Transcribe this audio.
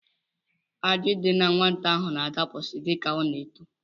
Ajị dị nwata n'ahụ na-adapụsị dịka ọ na-eto